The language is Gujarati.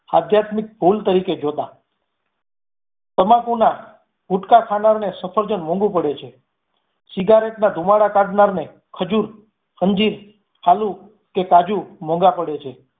આધ્યાત્મિક ભૂલ તરીકે જોતાં. તમ્બાકુ ને ગુટકા ખાનારને સફરજન મોંઘું પડે છે. સિગારેટના ધુમાળા કાઢનાર ને ખજૂર અંજીર આલુ કે કાજુ મોંઘા પડે છે